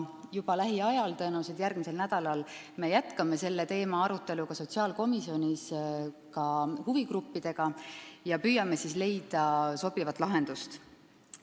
Juba lähiajal, tõenäoliselt järgmisel nädalal me jätkame selle teema arutelu sotsiaalkomisjonis ka huvigruppidega ja püüame leida sobivat lahendust.